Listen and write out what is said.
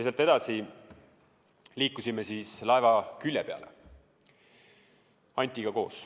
Sealt edasi liikusime Antiga koos laeva külje peale.